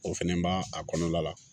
O fɛnɛ b'a a kɔnɔna la